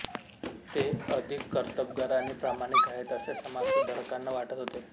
ते अधिक कर्तबगार आणि प्रामाणिक आहेत असे समाजसुधारकांना वाटत होते